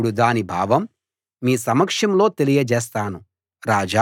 ఇప్పుడు దాని భావం మీ సమక్షంలో తెలియజేస్తాను